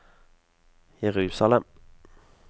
Jerusalem